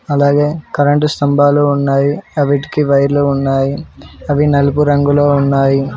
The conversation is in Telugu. అలాగే కరెంటు స్తంభాలు ఉన్నాయి అ విటికి వైర్లు ఉన్నాయి అవి నలుపు రంగులో ఉన్నాయి.